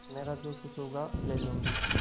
मेरा जो कुछ होगा ले लूँगी